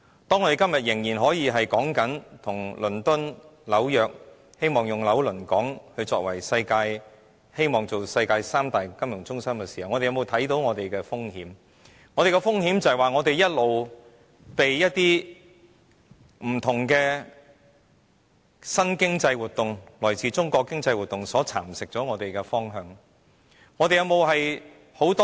當我們今天仍可與倫敦及紐約相提並論，希望成為"紐倫港"，成為世界三大金融中心之一的時候，我們有沒有看到我們面對的風險，就是我們一直被一些不同的新經濟活動——來自中國的經濟活動——左右我們的方向。